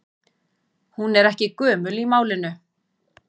Hún er ekki gömul í málinu.